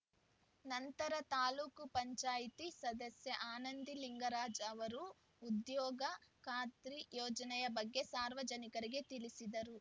ನಂತರ ತಾಲೂಕು ಪಂಚಾಯಿತಿ ಸದಸ್ಯೆ ಆನಂದಿ ಲಿಂಗರಾಜ್‌ ಅವರು ಉದ್ಯೋಗ ಖಾತ್ರಿ ಯೋಜನೆಯ ಬಗ್ಗೆ ಸಾರ್ವಜನಿಕರಿಗೆ ತಿಳಿಸಿದರು